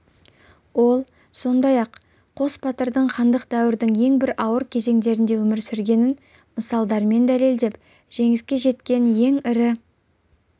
ол сондай-ақ қос батырдың хандық дәуірдің ең бір ауыр кезеңдерінде өмір сүргенін мысалдармен дәлелдеп жеңіске жеткен ең ірі